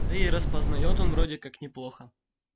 да и распознает он вроде как неплохо